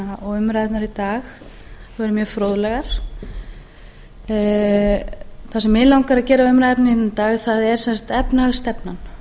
dag voru mjög fróðlegar það sem mig langar að gera umræðuefni hérna í dag er sem sagt efnahagsstefnan